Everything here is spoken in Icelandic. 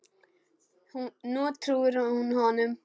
Nú trúir hún honum.